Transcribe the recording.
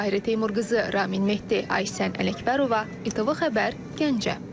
Tahirə Teymurqızı, Ran Mehdi, Aysən Ələkbərova, ATV xəbər Gəncə.